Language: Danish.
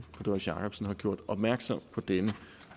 doris jakobsen har gjort opmærksom på denne